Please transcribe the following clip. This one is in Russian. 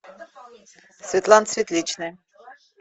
светлана светличная